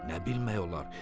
Nə bilmək olar?